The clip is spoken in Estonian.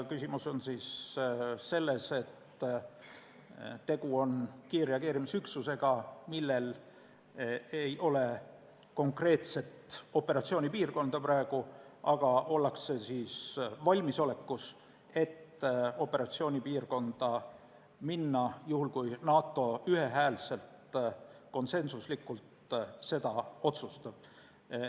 Küsimus on selles, et tegu on kiirreageerimisüksusega, millel ei ole praegu konkreetset operatsioonipiirkonda, aga ollakse valmisolekus minna operatsioonipiirkonda juhul, kui NATO seda ühehäälselt, konsensuslikult otsustab.